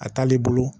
A t'ale bolo